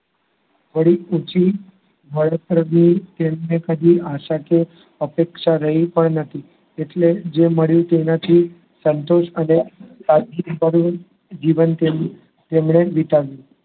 વળી પૂછ્યું મારા તરફથી કદી આશાકીય અપેક્ષા રહી પણ ન હતી. એટલે જે મળ્યું તેમાંથી સંતોષ અને સાદગી નિભાવીને જીવન તેમણે વિતાવ્યું